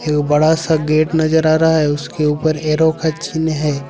एक बड़ा सा गेट नजर आ रहा है उसके ऊपर एरो का चिन्ह है।